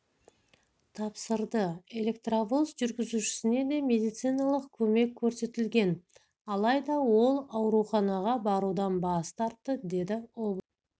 тапсырды электровоз жүргізушісіне де медициналық көмек көрсетілген алайда ол ауруханаға барудан бас тартты деді облыстық